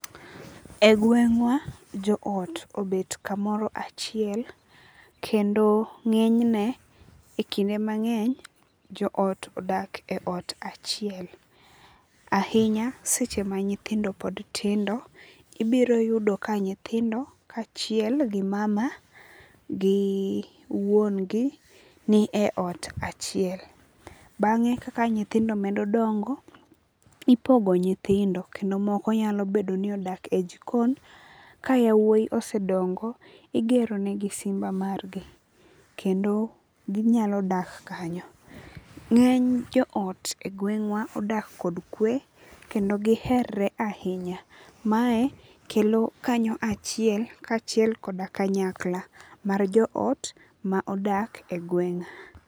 E gweng'wa jo ot obet kamoro achiel kendo ng'enyne e kinde mang'eny jo ot odak e ot achiel. Ahinya seche ma nyithindo pod tindo, ibiro yudo ka nyithindo ka achiel gi mama gi wuon gi ni e ot achiel. Bange kaka nyithindo medo dongo ipogo nyithindo kendo moko nyalo bedo ni odak e jikon. Ka yawuoi osedongo, igero negi simba mar gi kendo ginyalo dak kanyo. Ng'eny jo ot e gweng'wa odak kod kwe kendo gi herer ahinya. Ma e kelo kanyo achiel kachiel koda kanyakla mar jo ot ma odak e gweng'a.